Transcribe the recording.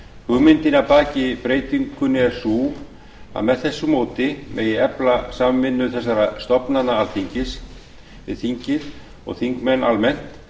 hugmyndin að baki breytingunni er sú að með þessu móti megi efla samvinnu þessara stofnana alþingis við þingið og þingmenn almennt